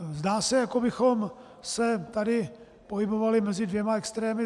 Zdá se, jako bychom se tady pohybovali mezi dvěma extrémy.